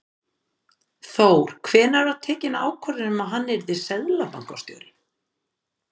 Þór: Hvenær var tekin ákvörðun um að hann yrði seðlabankastjóri?